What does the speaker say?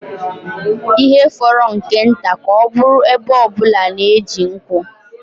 Ihe fọrọ nke nta ka ọ bụrụ ebo ọ bụla na-eji nkwụ